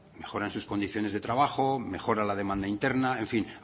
mejoran sus condiciones de trabajo mejora la demanda interna en fin